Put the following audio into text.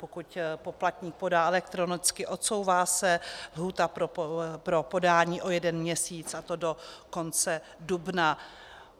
Pokud poplatník podá elektronicky, odsouvá se lhůta pro podání o jeden měsíc, a to do konce dubna.